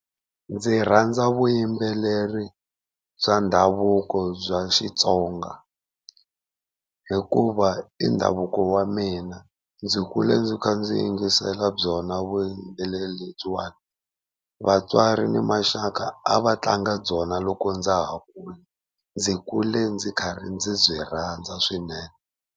Ndzi rhandza vuyimbeleri bya ndhavuko bya Xitsonga, hikuva i ndhavuko wa mina ndzi kule ndzi kha ndzi yingisela byona vuyimbeleri lebyiwani. Vatswari ni maxaka a va tlanga byona loko ndza ha kula, ndzi kule ndzi karhi ndzi byi rhandza swinene.